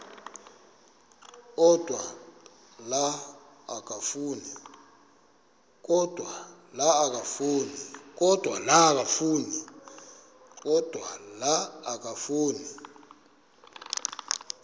odwa la okafuna